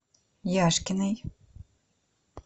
яшкиной